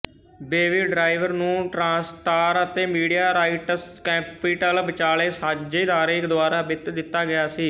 baby driver ਨੂੰ TriStar ਅਤੇ media rights capital ਵਿਚਾਲੇ ਸਾਂਝੇਦਾਰੀ ਦੁਆਰਾ ਵਿੱਤ ਦਿੱਤਾ ਗਿਆ ਸੀ